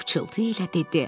Pıçıltı ilə dedi: